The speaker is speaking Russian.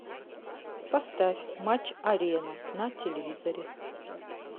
поставь матч арена на телевизоре